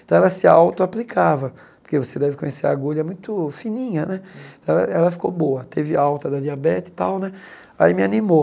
Então ela se auto-aplicava, porque você deve conhecer, a agulha é muito fininha né, ela ela ficou boa, teve alta da diabetes e tal né, aí me animou.